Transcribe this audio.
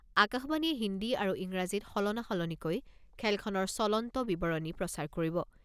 আকাশবাণীয়ে হিন্দী আৰু ইংৰাজীত সলনা সলনিকৈ খেলখনৰ চলন্ত বিৱৰণী প্ৰচাৰ কৰিব।